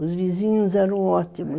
Os vizinhos eram ótimos